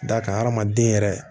D'a kan adamaden yɛrɛ